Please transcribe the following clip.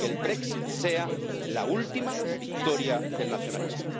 que el Brexit sea la última victoria del nacionalismo.